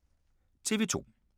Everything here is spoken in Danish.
TV 2